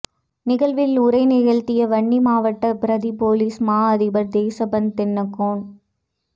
நிகழ்வில் உரை நிகழ்த்திய வன்னி மாவட்ட பிரதி பொலிஸ் மா அதிபர் தேசபந்து தென்னக்கோன்